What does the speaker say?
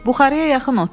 Buxarıya yaxın otur.